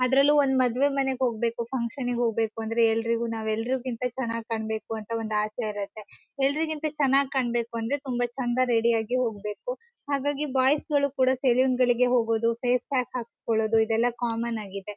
ಅದರಲ್ಲೂ ಒಂದ್ ಮದುವೆ ಮನೆಗೆ ಹೋಗ್ಬೇಕು ಫಂಕ್ಷನಿಗ್ ಹೋಗ್ಬೇಕು ಅಂದ್ರೆ ಎಲ್ಲರಿಗು ನಾವ್ ಎಲ್ಲರಿ ಗಿಂತ ಚೆನ್ನಾಗ್ ಕಾಣಬೇಕು ಒಂದ್ ಆಸೆ ಇರುತ್ತೆ ಎಲ್ಲರಿಗಿಂತ ಚೆನ್ನಾಗ್ ಕಾಣಬೇಕು ಅಂದ್ರೆ ತುಂಬಾ ಚೆನ್ನಾಗ್ ರೆಡಿ ಆಗಿ ಹೋಗ್ಬೇಕು ಹಾಗಾಗಿ ಬಾಯ್ಸ್ ಗಳು ಕೂಡ ಸೆಲೂನ್ ಗಳಿಗೆ ಹೋಗೋದು ಫೇಸ್ ಪ್ಯಾಕ್ ಹಾಕ್ಸ್ಕೊಳೋದು ಇದೆಲ್ಲ ಕಾಮನ್ ಆಗಿದೆ.